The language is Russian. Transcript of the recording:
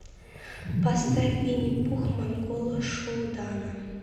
поставь винни пух монгола шуудана